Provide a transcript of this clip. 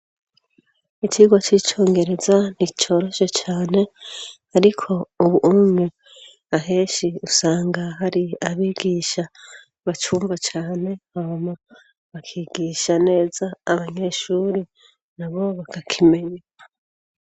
icigwa c'icongereza nticyoroshye cyane ariko ubunye aheshi usanga hari abigisha bacumvacyane hama bakigisha neza abanyeshuri na bo bakakimenya